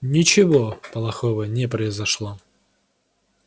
ничего плохого не произошло